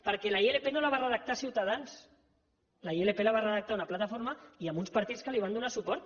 perquè la ilp no la va redactar ciutadans la ilp la va redactar una plataforma i amb uns partits que li van donar suport